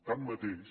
tanmateix